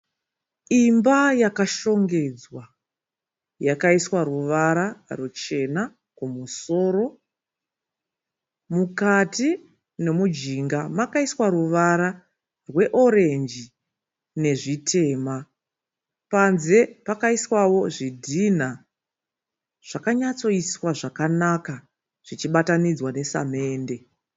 Imba yakashongedzwa yakaiswa ruvara ruchena kumusoro. Mukati nomujinga makaiswa ruvara rwe orenji nezvitema. Panze pakaiswawo zvidhinha zvakanatsoiswa zvakanaka zvichibatanidzwa nesamende.